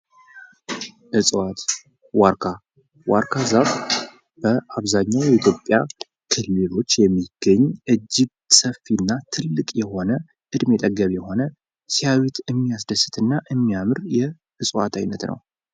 እጽዋት፦ ዋርካ፦ ዋርካ ዛፍ በአብዛኛው የኢትዮጵያ ክልሎች የሚገኝ እጅግ ሰፌና ትልቅ የሆነ፣ እድሜ ጠገብ የሆነ፣ ሲያዩት የሚያምር ፣ እና የሚያስደስት የእጽዋት እይነት ነው።